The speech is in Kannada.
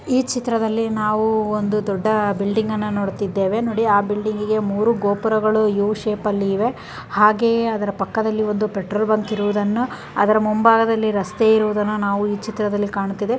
ಈ ಚಿತ್ರದಲ್ಲಿ ನಾವು ಒಂದು ದೊಡ್ಡ ಬಿಲ್ಡಿಂಗ್ ಅನ್ನು ನೋಡತ್ತಿದೆವೆ ನೋಡಿ ಆ ಬಿಲ್ಡಿಂಗಿ ಗೆ ಮೂರು ಗೋಪುರಗಳು ಯು ಶೇಪಲ್ಲಿ ಇವೆ ಹಾಗೆ ಅದರ ಪಕ್ಕದಲ್ಲಿ ಒಂದು ಪೆಟ್ರೋಲ್ ಬ್ಯಾಂಕ್ ಇರುವುದನ್ನು ಅದರ ಮುಂಭಾಗದಲ್ಲಿ ರಸ್ತೆ ಇರುವುದನ್ನುನಾವು ಈ ಚಿತ್ರದಲ್ಲಿ ಕಾಣುತ್ತಿದ್ದೇ --